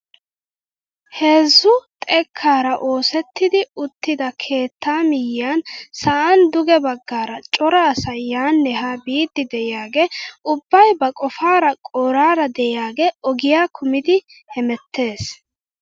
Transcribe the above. Heezzu xekkaara oosettidi uttida keettaa miyiyaan sa'an duge baggaara cora asay yaanne haa biidi de'iyaage ubbay ba qofaara qoraara de'iyaage ogiyaa kumidi hemettees!